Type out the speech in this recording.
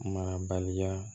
Marabaliya